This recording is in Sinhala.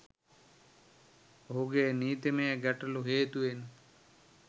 ඔහුගේ නීතිමය ගැටලු හේතුවෙන්